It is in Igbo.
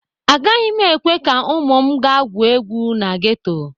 Agaghị m ekwe ka ụmụ m gáá gwuo egwu na geto.